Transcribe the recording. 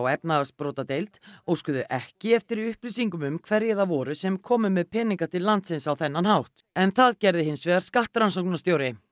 efnahagsbrotadeild óskuðu ekki eftir upplýsingum um hverjir það voru sem komu með peninga til landsins á þennan hátt en það gerði hins vegar skattrannsóknarstjóri